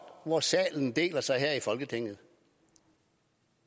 hvor salen deler sig her i folketinget